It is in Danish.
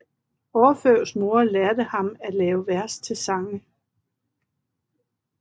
Orfeus mor lærte ham at lave vers til sange